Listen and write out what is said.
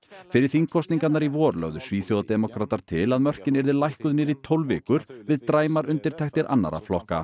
fyrir þingkosningarnar í vor lögðu til að mörkin yrðu lækkuð niður í tólf vikur við dræmar undirtektir annarra flokka